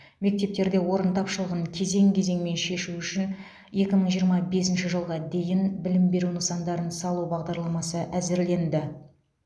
мектептерде орын тапшылығын кезең кезеңмен шешу үшін екі мың жиырма бесінші жылға дейін білім беру нысандарын салу бағдарламасы әзірленді